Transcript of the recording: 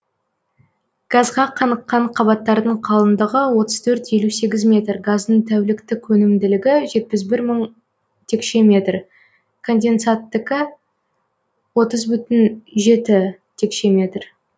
газға қаныққан қабаттардың қалыңдығы отыз төрт елу сегіз метр газдың тәуліктік өнімділігі жетпіс бір мың текше метр конденсаттікі отыз бүтін жеті текше метр